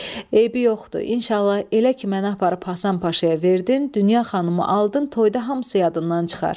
Eybi yoxdur, inşallah, elə ki mənə aparıb Həsən Paşaya verdin, Dünya xanımı aldın, toyda hamısı yadından çıxar.